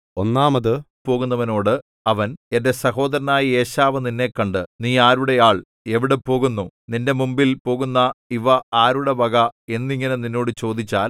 ഒന്നാമത് പോകുന്നവനോട് അവൻ എന്റെ സഹോദരനായ ഏശാവ് നിന്നെ കണ്ട് നീ ആരുടെ ആൾ എവിടെ പോകുന്നു നിന്റെ മുമ്പിൽ പോകുന്ന ഇവ ആരുടെ വക എന്നിങ്ങനെ നിന്നോട് ചോദിച്ചാൽ